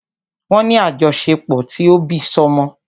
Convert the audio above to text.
Wọ́n ní àjọṣepọ̀ ti òbísọ́mọ.